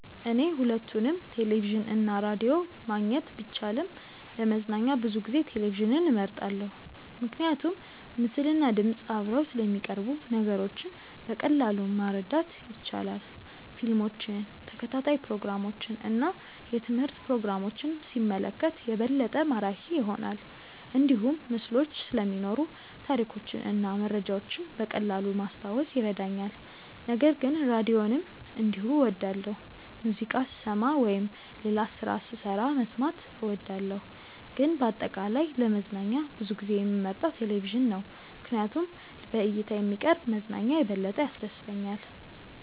እኔ ሁለቱንም ቴሌቪዥን እና ራዲዮ ማግኘት ቢቻልም ለመዝናኛ ብዙ ጊዜ ቴሌቪዥንን እመርጣለሁ። ምክንያቱም ምስልና ድምፅ አብረው ስለሚቀርቡ ነገሮችን በቀላሉ ማረዳት ይቻላል። ፊልሞችን፣ ተከታታይ ፕሮግራሞችን እና የትምህርት ፕሮግራሞችን ሲመለከት የበለጠ ማራኪ ይሆናል። እንዲሁም ምስሎች ስለሚኖሩ ታሪኮችን እና መረጃዎችን በቀላሉ ማስታወስ ይረዳኛል። ነገር ግን ራዲዮንም እንዲሁ እወዳለሁ፣ ሙዚቃ ስሰማ ወይም ሌላ ስራ ስሰራ መስማት እወዳለሁ። ግን በአጠቃላይ ለመዝናኛ ብዙ ጊዜ የምመርጠው ቴሌቪዥን ነው ምክንያቱም በእይታ የሚቀርብ መዝናኛ የበለጠ ያስደስተኛል።